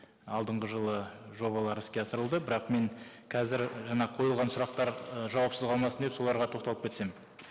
алдыңғы жылы жобалар іске асырылды бірақ мен қазір жаңа қойылған сұрақтар і жауапсыз қалмасын деп соларға тоқталып кетсем